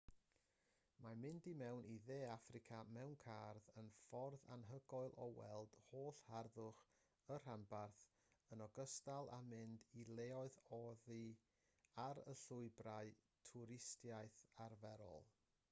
mae mynd i mewn i dde affrica mewn car yn ffordd anhygoel o weld holl harddwch y rhanbarth yn ogystal â mynd i leoedd oddi ar y llwybrau twristiaeth arferol